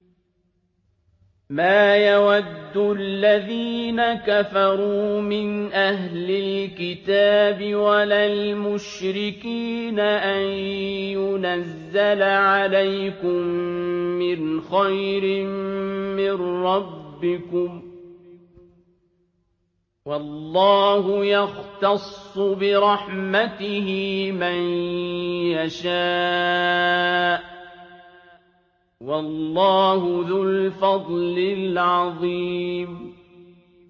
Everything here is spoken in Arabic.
مَّا يَوَدُّ الَّذِينَ كَفَرُوا مِنْ أَهْلِ الْكِتَابِ وَلَا الْمُشْرِكِينَ أَن يُنَزَّلَ عَلَيْكُم مِّنْ خَيْرٍ مِّن رَّبِّكُمْ ۗ وَاللَّهُ يَخْتَصُّ بِرَحْمَتِهِ مَن يَشَاءُ ۚ وَاللَّهُ ذُو الْفَضْلِ الْعَظِيمِ